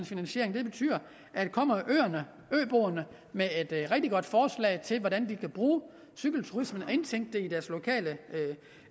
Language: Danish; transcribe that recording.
finansiering det betyder at kommer øboerne med et rigtig godt forslag til hvordan de kan bruge cykelturismen og indtænke